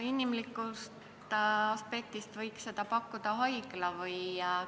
Inimlikust aspektist lähtudes võiks seda teenust pakkuda haigla.